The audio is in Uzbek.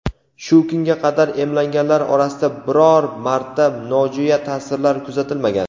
shu kunga qadar emlanganlar orasida biror marta nojo‘ya ta’sirlar kuzatilmagan.